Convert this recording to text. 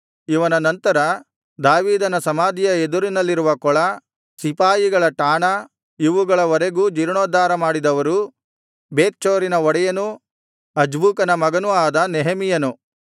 ಇವನ ನಂತರ ದಾವೀದನ ಸಮಾಧಿಯ ಎದುರಿನಲ್ಲಿರುವ ಕೊಳ ಸಿಪಾಯಿಗಳ ಠಾಣ ಇವುಗಳವರೆಗೂ ಜೀರ್ಣೋದ್ಧಾರ ಮಾಡಿದವರು ಬೇತ್ಚೂರಿನ ಒಡೆಯನೂ ಅಜ್ಬೂಕನ ಮಗನೂ ಆದ ನೆಹೆಮೀಯನು